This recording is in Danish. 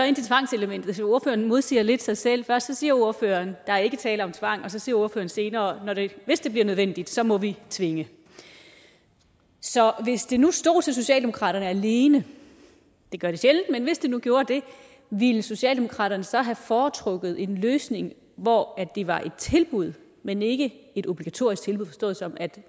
ind til tvangselementet for ordføreren modsiger lidt sig selv først siger ordføreren der ikke er tale om tvang og så siger ordføreren senere at hvis det bliver nødvendigt så må vi tvinge så hvis det nu stod til socialdemokratiet alene det gør det sjældent men hvis det nu gjorde det ville socialdemokratiet så have foretrukket en løsning hvor det var et tilbud men ikke et obligatorisk tilbud forstået sådan at